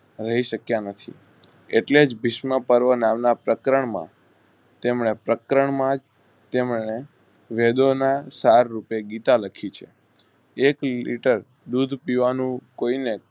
રહી શક્ય નથી એટલેજ ભીષ્મ પર્વ નામ ના પ્રકરણ માં તેમને પ્રકરણ માં તેમણે વેદોના સાર રૂપે ગીતા લખી છે. એથી લીટર દૂધ પીવાનું કોઈને